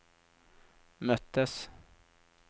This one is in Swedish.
möttes